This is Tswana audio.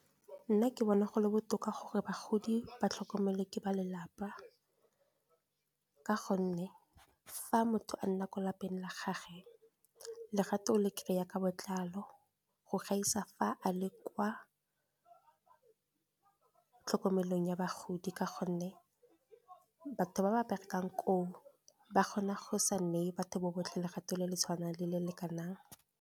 Nna ke bona go le botoka gore bagodi ba tlhokomelwe ke ba lelapa. Ka gonne fa motho a nna ko lapeng la gage, legato le kry-a ka botlalo, go gaisa fa a le kwa tlhokomelong ya bagodi. Ka gonne batho ba ba berekang koo, ba kgona go sa neye batho botlhe legato le le tshwanang le le lekanang.